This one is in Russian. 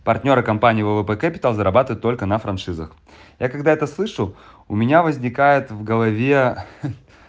партнёры компании ввп кэпитал зарабатывает только на франшизах я когда-то слышал у меня возникает в голове ха